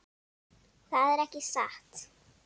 Það er ekki satt.